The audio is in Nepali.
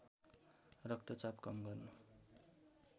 रक्तचाप कम गर्न